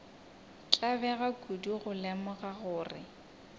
tlabega kudu go lemoga gore